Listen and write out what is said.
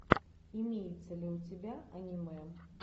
имеется ли у тебя аниме